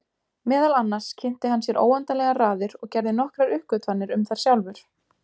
Meðal annars kynnti hann sér óendanlegar raðir og gerði nokkrar uppgötvanir um þær sjálfur.